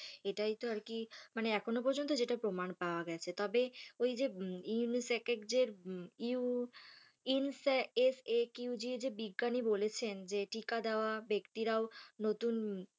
এটাই তো আর কি মানে এখনও পর্যন্ত যেটা প্রমাণ পাওয়া গেছে তবে ঐ যে UNICEF এর যে ইউ ইনসা এস এ কিউ যে বিজ্ঞানী বলেছেন যে টিকা দেওয়া ব্যক্তিরাও নতুন,